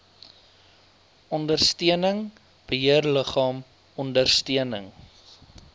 ondersteuning beheerliggaam ondersteuning